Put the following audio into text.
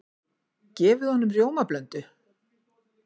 Gefið honum rjómablöndu?